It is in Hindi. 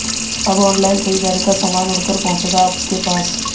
अब ऑनलाइन खरीदारी का सामान उड़कर पहुंचेगा आपके पास